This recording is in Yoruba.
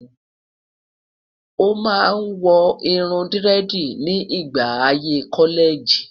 o má wò irún diredi ni ìgbà ayé kọlẹẹjì